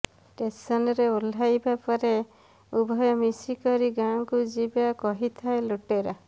ଷ୍ଟେସନ୍ରେ ଓହ୍ଲାଇବା ପରେ ଉଭୟ ମିଶି କରି ଗାଁକୁ ଯିବା କହିଥାଏ ଲୁଟେରା